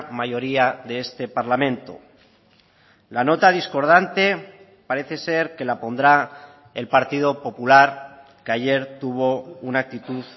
mayoría de este parlamento la nota discordante parece ser que la pondrá el partido popular que ayer tuvo una actitud